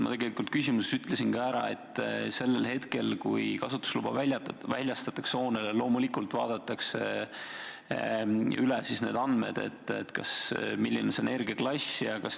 Ma küsimuses ütlesin ka ära, et sellel hetkel, kui hoonele kasutusluba väljastatakse, loomulikult vaadatakse üle need andmed, milline see energiaklass on.